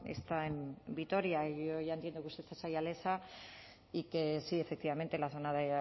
está en vitoria y yo ya entiendo que usted es ayalesa y que sí efectivamente en la zona